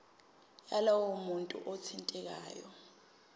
yalowo muntu othintekayo